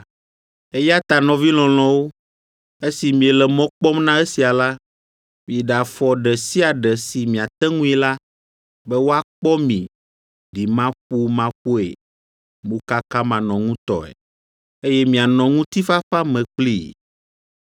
Eya ta nɔvi lɔlɔ̃wo, esi miele mɔ kpɔm na esia la, miɖe afɔ ɖe sia ɖe si miate ŋui la, be woakpɔ mi ɖimaƒomaƒoe, mokakamanɔŋutɔe, eye mianɔ ŋutifafa me kplii.